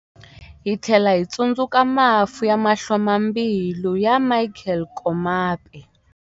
Hi tlhela hi tsundzuka mafu ya mahlomulambilu ya Michael Komape.